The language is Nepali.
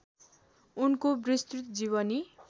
उनको विस्तृत जीवनी